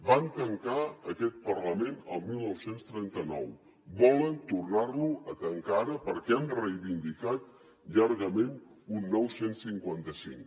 van tancar aquest parlament el dinou trenta nou volen tornar lo a tancar ara perquè han reivindicat llargament un nou cent i cinquanta cinc